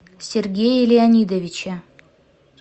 сергее леонидовиче